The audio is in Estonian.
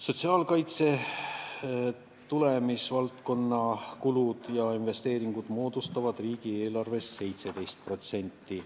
Sotsiaalkaitse tulemusvaldkonna kulud ja investeeringud moodustavad riigieelarvest 17%.